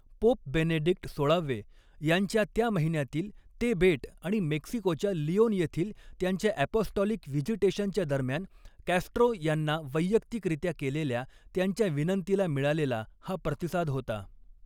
Pope Benedict सोळावे यांच्या त्या महिन्यातील ते बेट आणि मेक्सिकोच्या लिओन येथील त्यांच्या अपॉस्टॉलिक व्हिजिटेशनच्या दरम्यान कॅस्ट्रो यांना वैयक्तिकरीत्या केलेल्या त्यांच्या विनंतीला मिळालेला हा प्रतिसाद होता.